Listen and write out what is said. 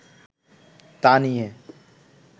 তা নিয়ে